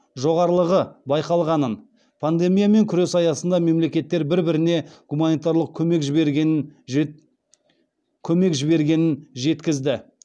жоғарлығы байқалғанын пандемиямен күрес аясында мемлекеттер бір біріне гуманитарлық көмек жібергенін жеткізді